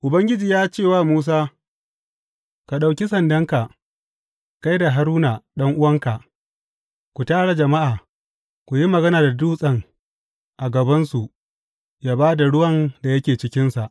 Ubangiji ya ce wa Musa, Ka ɗauki sandanka, kai da Haruna, ɗan’uwanka, ku tara jama’a, ku yi magana da dutsen a gabansu ya ba da ruwan da yake cikinsa.